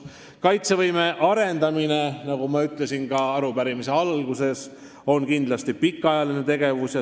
" Kaitsevõime arendamine, nagu ma ütlesin ka arupärimise alguses, on kindlasti pikaajaline tegevus.